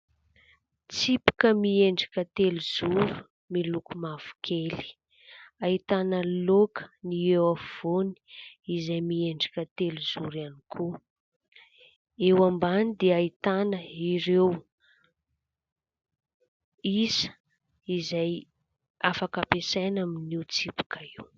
Tsipika miendrika telozoro miloko mavokely. Ahitana loaka ny eo afovoany izay miendrika telozoro ihany koa. Eo ambany dia ahitana ireo isa izay afaka ampiasaina amin'io tsipika io.